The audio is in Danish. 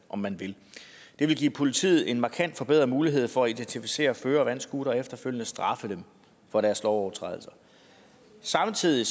om man vil det vil give politiet en markant forbedret mulighed for at identificere førere af vandscootere og efterfølgende straffe dem for deres lovovertrædelser samtidig